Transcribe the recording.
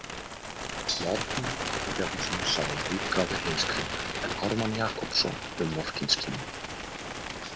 Bjarni Aðalbjarnarson sá um útgáfu Heimskringlu en Ármann Jakobsson um Morkinskinnu.